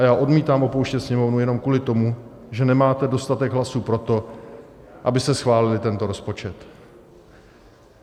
A já odmítám opouštět Sněmovnu jenom kvůli tomu, že nemáte dostatek hlasů pro to, abyste schválili tento rozpočet.